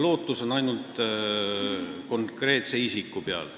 Lootus on ainult selle konkreetse isiku peal.